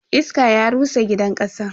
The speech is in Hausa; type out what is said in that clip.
Iska ya rusa gidan kasan.